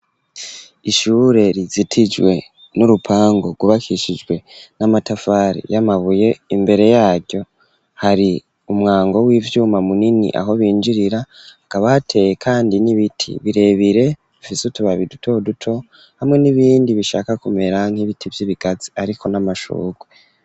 Ishure, rizitijwe n'urupangu, rwubakishijwe n'amatafari, y'amabuye; imbere yaryo, hari umwango w'ivyuma, munini, aho binjirira; hakaba, hateye kandi, n'ibiti birebire, bifise utubabi, duto duto, hamwe n'ibindi, bishaka kumera, nk'ibiti vy'ibigazi, hariko n'amashurwe.